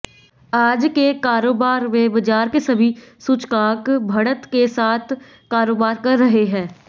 आज के कारोबार में बाजार के सभी सूचकांक बढ़त के साथ कारोबार कर रहे हैं